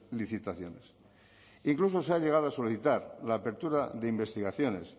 licitaciones incluso se ha llegado a solicitar la apertura de investigaciones